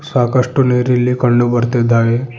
ಸಾಕಷ್ಟು ನೀರು ಇಲ್ಲಿ ಕಂಡು ಬರ್ತಿದ್ದಾವೆ.